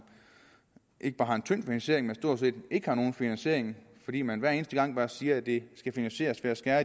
ikke bare har en tynd finansiering men stort set ikke har nogen finansiering fordi man hver eneste gang bare siger at det skal finansieres ved at skære